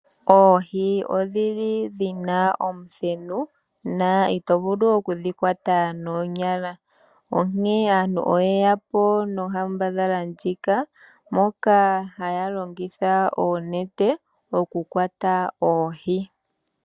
Oohi odhili dhina omuthenu, na itovulu okudhikwata noonyala. Onkene aantu oyeyapo nonkambadhala ndjika, moka haya longitha oonete, okukwata oohi.